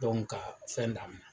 Dɔnku ka fɛn daminɛ